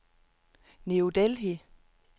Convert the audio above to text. New Delhi